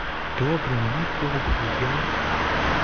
добрый мне похуй я